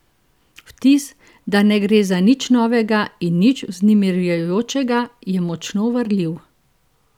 Vtis, da ne gre za nič novega in nič vznemirjajočega, je močno varljiv.